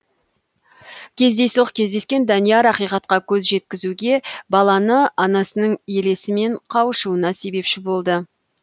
кездейсоқ кездескен данияр ақиқатқа көз жеткізуге баланы анасының елесімен қауышуына себепші болады